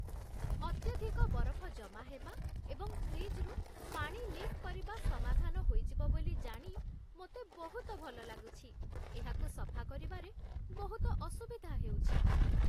ଅତ୍ୟଧିକ ବରଫ ଜମା ହେବା ଏବଂ ଫ୍ରିଜ୍‌ରୁ ପାଣି ଲିକ୍ କରିବା ସମାଧାନ ହୋଇଯିବ ବୋଲି ଜାଣି ମୋତେ ବହୁତ ଭଲ ଲାଗୁଛି, ଏହାକୁ ସଫା କରିବାରେ ବହୁତ ଅସୁବିଧା ହେଉଛି